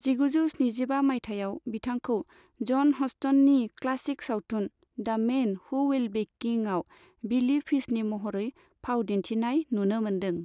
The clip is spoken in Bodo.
जिगुजौ स्निजिबा मायथाइयाव बिथांखौ जन हस्टननि क्लासिक सावथुन 'the' man who would be king' आव बिली फिशनि महरै फाव दिनथिनाय नुनो मोनदों।